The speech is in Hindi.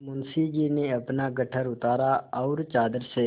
मुंशी जी ने अपना गट्ठर उतारा और चादर से